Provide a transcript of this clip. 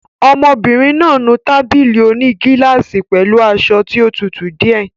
Ọmọbìnrin náà nu tábìlì òní gílásì pẹ̀lú aṣọ tí ó tutù díẹ̀.